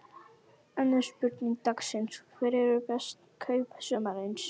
Önnur spurning dagsins: Hver eru bestu kaup sumarsins?